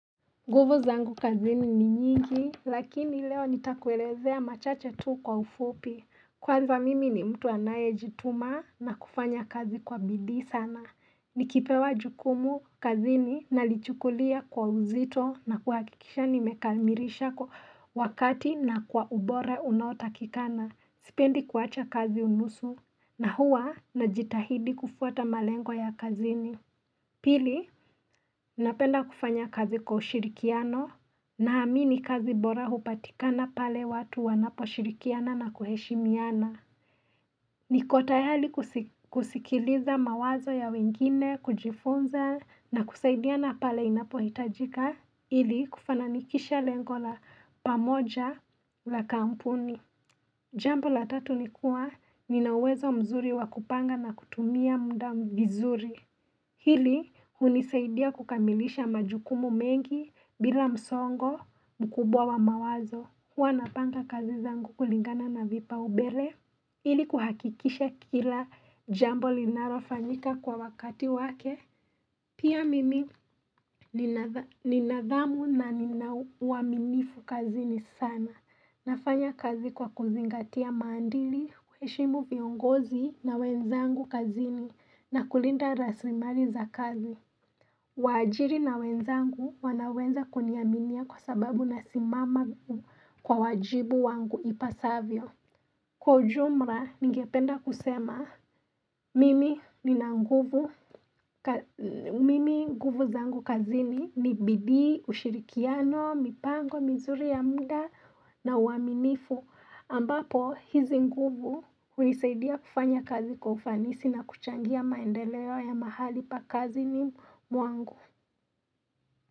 Guvu zangu kazini ni nyingi, lakini leo nitakuelezea machache tu kwa ufupi. Kwanza mimi ni mtu anaye jituma na kufanya kazi kwa bidi sana. Nikipewa jukumu kazini nalichukulia kwa uzito na kuhakikisha nimekamirishako wakati na kwa ubore unautakikana. Sipendi kuwacha kazi unusu na huwa najitahidi kufuata malengo ya kazini. Pili, napenda kufanya kazi kwa ushirikiano naamini kazi bora hupatikana pale watu wanapo shirikiana na kuheshimiana. Niko tayali kusikiliza mawazo ya wengine, kujifunza na kusaidiana pale inapo hitajika ili kufananikisha lengo la pamoja la kampuni. Jambo la tatu nikuwa ninawezo mzuri wakupanga na kutumia mdamu vizuri. Hili hunisaidia kukamilisha majukumu mengi bila msongo mkubwa wa mawazo. Hua napanga kazi zangu kulingana na vipa ubele. Hili kuhakikisha kila jambo linarofanyika kwa wakati wake. Pia mimi ninadhamu na ninau waminifu kazini sana. Nafanya kazi kwa kuzingatia mandili, kuheshimu viongozi na wenzangu kazini na kulinda raslimari za kazi. Wajiri na wenzangu wanaweza kunyaminia kwa sababu nasimama kwa wajibu wangu ipasavyo. Kwa ujumra, ningependa kusema, mimi nguvu zangu kazini ni bidi, ushirikiano, mipango, mizuri ya mda na uaminifu. Ambapo, hizi nguvu unisaidia kufanya kazi kwa ufanisi na kuchangia maendeleo ya mahali pa kazini mwangu.